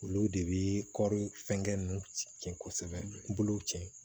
Olu de bi kɔri fɛngɛ nunnu cɛn kosɛbɛ bolo ci